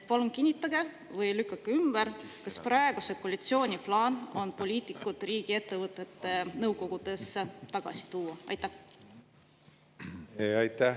Palun kinnitage või lükake ümber, kas praeguse koalitsiooni plaan on poliitikud riigiettevõtete nõukogudesse tagasi tuua?